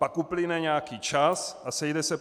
Pak uplyne nějaký čas a sejde se